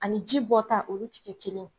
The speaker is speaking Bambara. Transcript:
Ani ji bɔ ta olu tigɛ kelen ye.